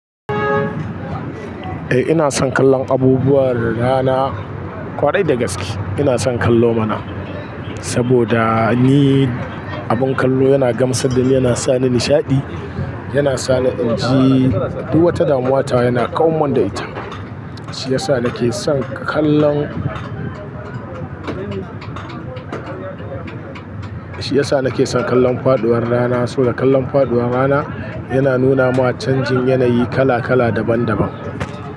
Ina son kallon abubuwa da rana ƙwarai da gaske ina son kallo mana, saboda ni abin kallo yana gamsar dan yana sa ni nishaɗi, yana sa ni inji duk wata damuwa ta yana ƙaunar da ita. Shi yasa na ke son kallon, shi yasa na ke son kallon faɗuwar rana. Saboda kallon faɗuwar rana yana nuna ma canjin yanayi kala kala daban daban.